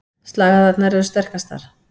Slagæðarnar eru sterkastar.